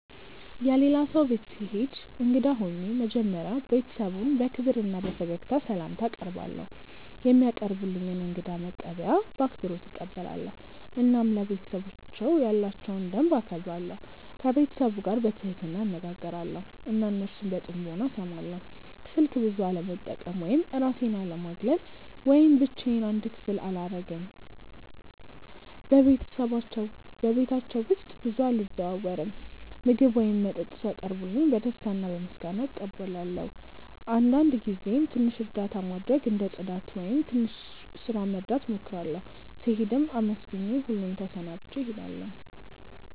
የሌላ ሰው ቤት ስሄድ እንግዳ ሆኜ መጀመሪያ ቤተሰቡን በክብር እና በፈገግታ ስላምታ አቀርባለው፧ የሚያቀርቡልኝን እንግዳ መቀበያ በአክብሮት እቀበላለሁ እና ለቤተሰባቸው ያላቸውን ደንብ እከብራለሁ። ከቤተሰቡ ጋር በትህትና እነጋገራለው እና እነሱን በጥሞና እስማለው። ስልክ ብዙ አለመጠቀም ወይም እራሴን አለማግለል ወይም ብቻዮን አንድ ክፍል አላረግም በቤታቸው ውስጥ ብዙ አልዘዋወርም። ምግብ ወይም መጠጥ ሲያቀርቡልኝ በደስታ እና በምስጋና እቀበላለው አንዳንድ ጊዜም ትንሽ እርዳታ ማድረግ እንደ ጽዳት ወይም ትንሽ ስራ መርዳት እሞክራለሁ። ስሄድም አመስግኜ ሁሉን ተሰናብቼ እሄዳለሁ።